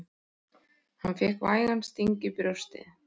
Hann fékk vægan sting í brjóstið.